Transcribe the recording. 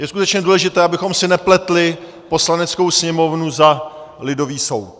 Je skutečně důležité, abychom si nepletli Poslaneckou sněmovnu za lidový soud.